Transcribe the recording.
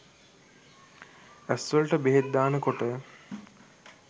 ඇස්වලට බෙහෙත් දාන කොට